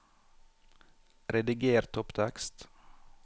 Rediger topptekst